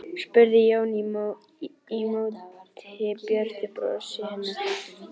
spurði Jón í móti björtu brosi hennar.